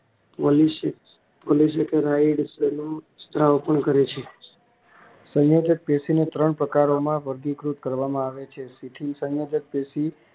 સ્ત્રાવ પણ કરે છે સંયોજક પેશીના ત્રણ પ્રકાર તેમાં વર્ગીકૃત કરવામાં આવે છે સુચિલ સંયોજક પેશી